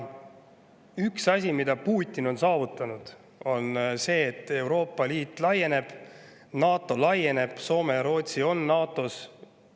Üks asi, mida Putin on saavutanud, on see, et Euroopa Liit laieneb, NATO laieneb, Soome ja Rootsi on NATO-s.